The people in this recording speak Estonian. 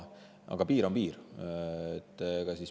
Aga piir on piir.